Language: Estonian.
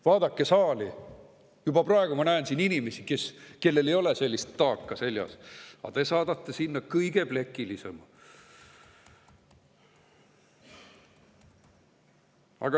Vaadake saali, juba praegu ma näen siin inimesi, kellel ei ole sellist taaka seljas, aga te saadate sinna kõige plekilisema.